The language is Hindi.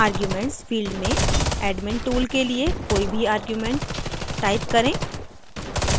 arguments field में admin tool के लिए कोई भी arguments type करें